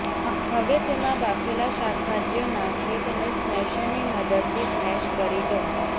હવે તેમાં બાફેલા શાકભાજીઓ નાંખી તેને સ્મેશરની મદદથી સ્મેશ કરી લો